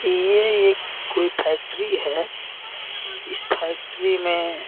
यह एक कोई फैक्ट्री है इस फैक्ट्री में --